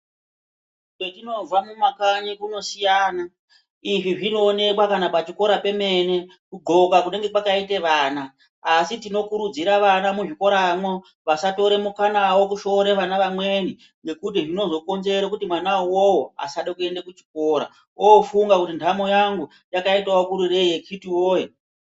Kwetinobva kumakanyi kunosiyana izvi zvinoonekwa chero pachikora pemene kugonka kunenge kwakaita vana asi tinokurudzira vana muzvikoramwo vasatora mukanawo kushore vana vamweni ngekuti zvinozokinzera kuti mwana uwowo asadenkuenda kuchikora ofunga kuti nhamo yangu yakadii akiti woye.